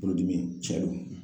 Bolodimi cɛn do.